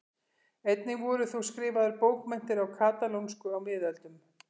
Einnig voru þó skrifaðar bókmenntir á katalónsku á miðöldum.